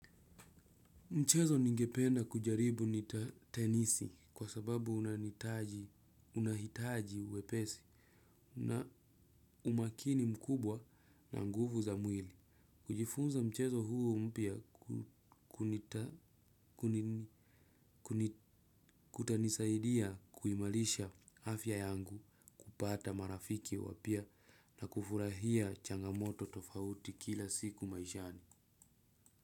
Mchezo ningependa kujaribu ni tenisi kwa sababu unahitaji wepesi na umakini mkubwa na nguvu za mwili. Kujifunza mchezo huu mpya kutanisaidia kuimarisha afya yangu, kupata marafiki wapya na kufurahia changamoto tofauti kila siku maishani.